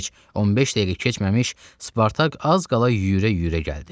Heç 15 dəqiqə keçməmiş Spartak az qala yüyürə-yüyürə gəldi.